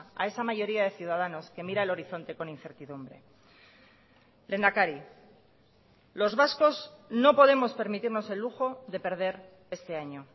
a esa mayoría de ciudadanos que mira el horizonte con incertidumbre lehendakari los vascos no podemos permitirnos el lujo de perder este año